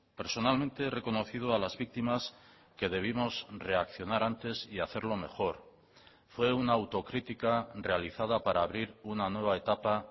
personalmente he reconocido a las víctimas que debimos reaccionar antes y hacerlo mejor fue una autocrítica realizada para abrir una nueva etapa